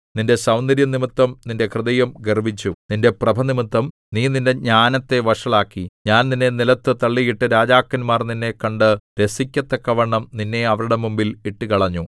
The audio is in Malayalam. നിന്റെ സൗന്ദര്യംനിമിത്തം നിന്റെ ഹൃദയം ഗർവ്വിച്ചു നിന്റെ പ്രഭനിമിത്തം നീ നിന്റെ ജ്ഞാനത്തെ വഷളാക്കി ഞാൻ നിന്നെ നിലത്തു തള്ളിയിട്ട് രാജാക്കന്മാർ നിന്നെ കണ്ടു രസിക്കത്തക്കവണ്ണം നിന്നെ അവരുടെ മുമ്പിൽ ഇട്ടുകളഞ്ഞു